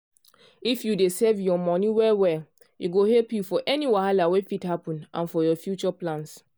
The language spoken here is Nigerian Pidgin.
if you dey save your money well well e go help you for any wahala wey fit happen and for your future plans.